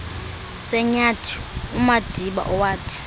senyathi umadiba owathi